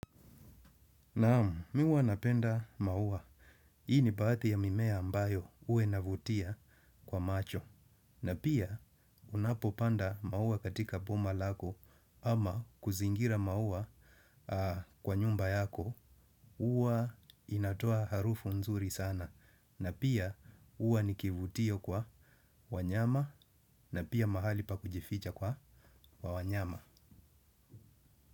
Naam, mimi huwa napenda maua. Hii ni baadhi ya mimea ambayo huwa inavutia kwa macho. Na pia, unapopanda maua katika boma lako ama kuzingira maua kwa nyumba yako, hua inatoa harufu nzuri sana. Na pia, ua nikivutio kwa wanyama na pia mahali pa kujificha kwa wanyama.